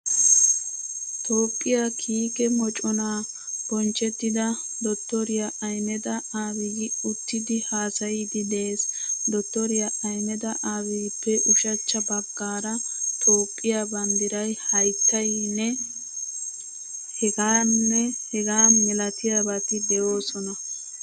Toophphiyaa kiike moconaa Bonchchettida Dottoriyaa Ahmeda Abiyyi uttidi haasayiiddi de"ees. Dottoriyaa Ahmeda Abiyyippe ushachcha baggaara Toophphiyaa banddiray, haattayinne hegaanne hegaa milatiyabati de"oosona.